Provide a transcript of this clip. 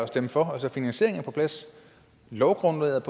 stemme for finansieringen er på plads lovgrundlaget